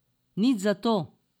Nič zato.